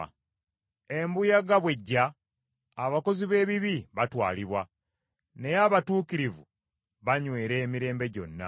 Embuyaga bw’ejja, abakozi b’ebibi batwalibwa, naye abatuukirivu banywera emirembe gyonna.